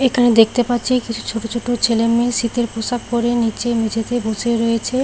এখানে দেখতে পাচ্ছি কিছু ছোট ছোট ছেলেমেয়ে শীতের পোশাক পরে নিচে মেঝেতে বসে রয়েছে।